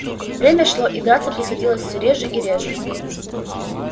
время шло и драться приходилось всё реже и реже